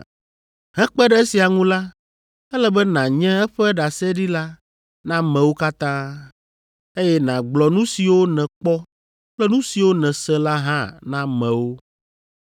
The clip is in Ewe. Hekpe ɖe esia ŋu la, ele be nànye eƒe ɖaseɖila na amewo katã, eye nàgblɔ nu siwo nèkpɔ kple nu siwo nèse la hã na amewo.